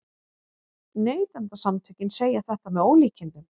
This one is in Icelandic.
Neytendasamtökin segja þetta með ólíkindum